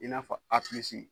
I n'a fɔ a pilisi